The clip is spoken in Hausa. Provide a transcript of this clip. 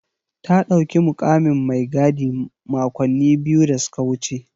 Ta ɗauki mukamin mai gadi makonni biyu da suka wuce.